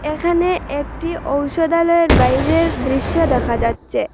এখানে একটি ঔষধালয়ের বাইরের দৃশ্য দেখা যাচ্চে।